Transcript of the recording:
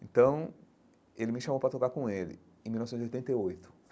Então, ele me chamou para tocar com ele, em mil novecentos e oitenta e oito.